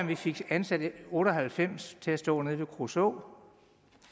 vi fik ansat otte og halvfems til at stå nede ved kruså